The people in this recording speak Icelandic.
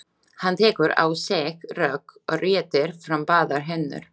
Hann tekur á sig rögg og réttir fram báðar hendur.